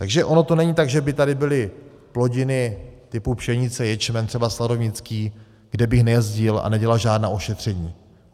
Takže ono to není tak, že by tady byly plodiny typu pšenice, ječmen, třeba sladovnický, kde bych nejezdil a nedělal žádná ošetření.